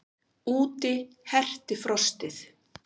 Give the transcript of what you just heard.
Úti herti frostið.